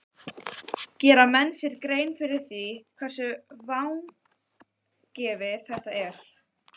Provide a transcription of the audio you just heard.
Gera menn sér grein fyrir því hversu vangefið þetta er?